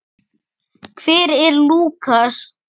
Birta: Hver er Lúkas?